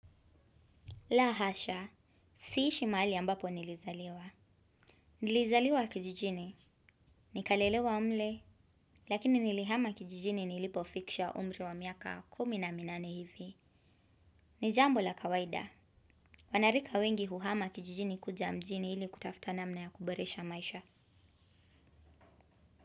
La hasha, siishi mahali ambapo nilizaliwa. Nilizaliwa kijijini, nikalelewa mle, lakini nilihama kijijini nilipofikisha umri wa miaka kumi na minane hivi. Ni jambo la kawaida, wanarika wengi huhama kijijini kuja mjini ili kutafuta namna ya kuboresha maisha.